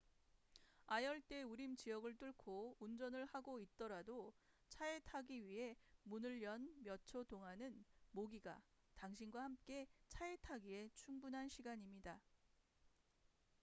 아열대 우림 지역을 뚫고 운전을 하고 있더라도 차에 타기 위해 문을 연 몇 초 동안은 모기가 당신과 함께 차에 타기에 충분한 시간입니다